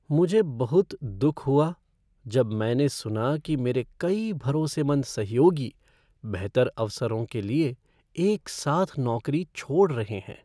मुझे बहुत दुख हुआ जब मैंने सुना कि मेरे कई भरोसेमंद सहयोगी बेहतर अवसरों के लिए एक साथ नौकरी छोड़ रहे हैं।